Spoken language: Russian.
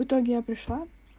в итоге я пришла